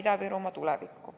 Me usume Ida-Virumaa tulevikku.